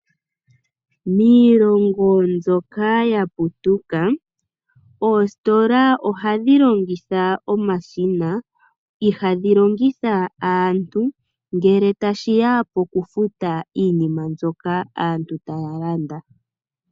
Miilongo mbyoka yaputuka oositola ohadhi longitha omashina , ihadhi longitha aantu ngele tashiya pokufuta iinima mbyoka aantu taya landa.